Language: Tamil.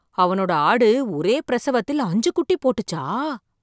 அவனோட ஆடு ஒரே பிரசவத்தில் அஞ்சு குட்டி போட்டுச்சா!